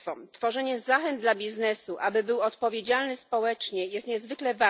Tworzenie zachęt dla biznesu, aby był odpowiedzialny społecznie, jest niezwykle